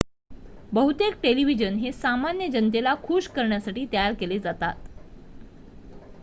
बहुतेक टेलिव्हिजन हे सामान्य जनतेला खुश करण्यासाठी तयार केले जातात